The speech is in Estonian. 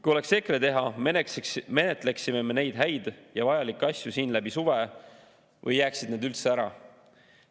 Kui oleks EKRE teha, menetleksime me neid häid ja vajalikke asju siin läbi suve või jääksid need üldse ära.